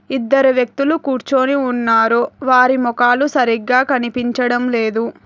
ఇద్దరు వ్యక్తులు కూర్చుని ఉన్నారు వారి ముఖాలు సరిగ్గా కనిపించడం లేదు.